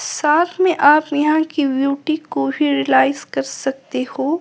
साथ में आप यहां की ब्यूटी को भी रियलाइज कर सकते हो।